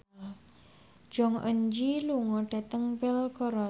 Jong Eun Ji lunga dhateng Belgorod